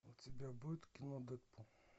у тебя будет кино дэдпул